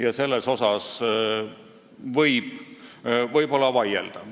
Ja selle üle võib võib-olla vaielda.